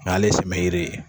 Ale simeide.